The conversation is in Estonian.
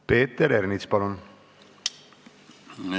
Peeter Ernits, palun!